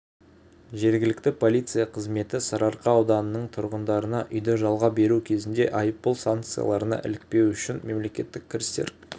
жергілікті полиция қызметі сарыарқа ауданының тұрғындарына үйді жалға беру кезінде айыппұл санкцияларына ілікпеу үшін мемлекеттік кірістер